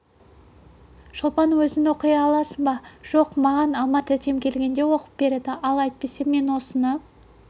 шолпан өзің оқи аласың ба жоқ маған алма тәтем келгенде оқып береді ал әйтпесе мен осыны